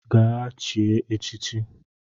Gaa chie echichi